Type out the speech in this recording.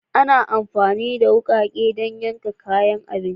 Ana amfani da wukake don yankan kayan abinci a kicin